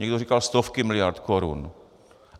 Někdo říkal stovky miliard korun.